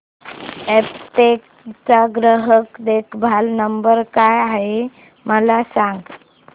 Aptech चा ग्राहक देखभाल नंबर काय आहे मला सांग